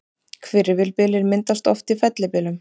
Hvirfilbyljir myndast oft í fellibyljum.